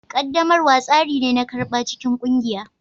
Ƙaddamarwa tsari ne na karɓa cikin ƙungiya